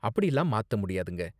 அப்படிலாம் மாத்த முடியாதுங்க.